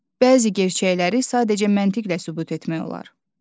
Bəzi gerçəkləri sadəcə məntiqlə sübut etmək olar.